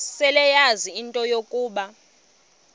seleyazi into yokuba